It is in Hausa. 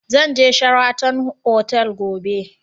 Zan je Sheraton otal gobe